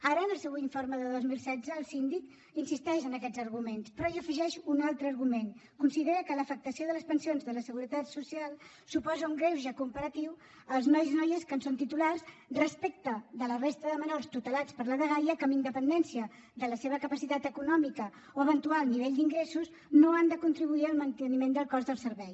ara en el seu informe de dos mil setze el síndic insisteix en aquests arguments però hi afegeix un altre argument considera que l’afectació de les pensions de la seguretat social suposa un greuge comparatiu als nois i noies que en són titulars respecte de la resta de menors tutelats per la dgaia que amb independència de la seva capacitat econòmica o eventual nivell d’ingressos no han de contribuir al manteniment del cost del servei